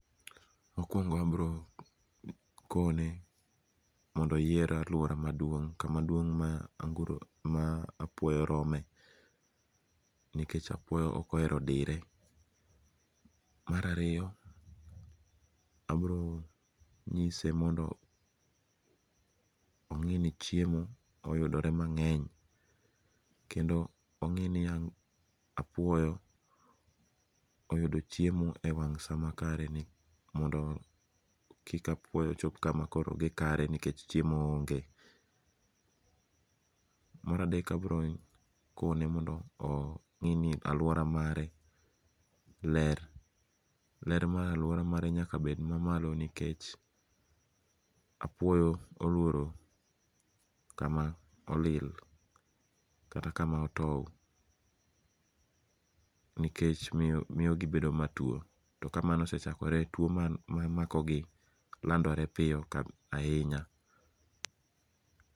Mokuongo abrokone mondo oyier aluora maduong' kama duong' ma apuoyo rome. Mar ariyo obronyise mondo ongi'ni chiemo oyudore mange'ny, kendo ongi' ni ya apuoyo oyudo chiemo e wang' saa makare mondo kik apuoyo chop kama gikare nikech chiemo onge. Mar adek abirokone ni mondo ongi'ni aluora mare ler, ler mar aluora mare nyaka bed mamalo nikech apioyo oluoro kama olil kata kama otow nikech miyogi bedo matuo to kamano osechakore tua ma makogi landore piyo ahinya